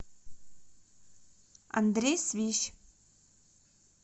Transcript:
андрей свищ